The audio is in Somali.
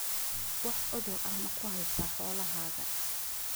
Wax cudur ah ma ku haysaa xoolahaaga?